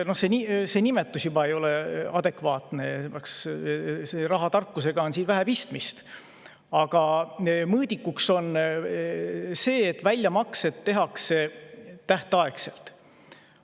No juba see nimetus ei ole adekvaatne, sest rahatarkusega on siin vähe pistmist, aga mõõdik on siin see, et väljamaksed tehakse tähtaegselt.